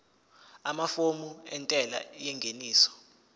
amafomu entela yengeniso